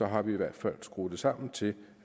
har vi i hvert fald skruet det sammen til